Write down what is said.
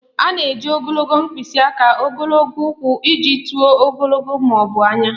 A na-eji ogologo mkpịsị aka, ogologo ụkwụ iji tụọ ogologo ma ọ bụ anya